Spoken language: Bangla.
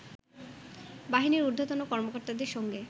বাহিনীর ঊর্ধ্বতন কর্মকর্তাদের সঙ্গে